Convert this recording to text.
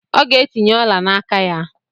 Ọ ga-etinye ọla n'aka ya.